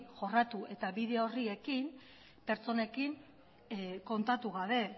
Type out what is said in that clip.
jorratu eta bide horri ekin pertsonekin kontatu gabe